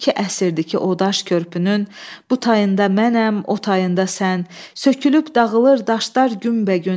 İki əsrdir ki, o daş körpünün bu tayında mənəm, o tayında sən, sökülüb dağılır daşlar günbəgün.